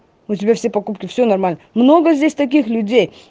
у тебя все покупки все нормально много здесь таких людей